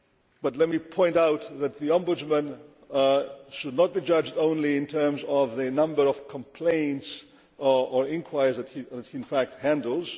But let me point out that the Ombudsman should not be judged only in terms of the number of complaints or inquiries that he handles.